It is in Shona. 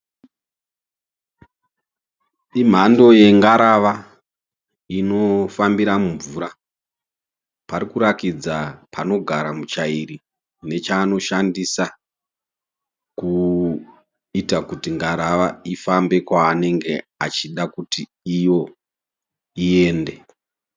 Imhando yengarava inofambira mumvura. Pari kurakidza panogara muchairi nechaanoshandisa kuita kuti ngarava ifambe kwaanenge achida kuti iyo iende.